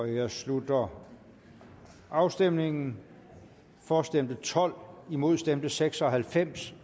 jeg slutter afstemningen for stemte tolv imod stemte seks og halvfems